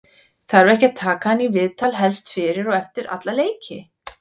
þarf ekki að taka hann í viðtal helst fyrir og eftir alla leiki?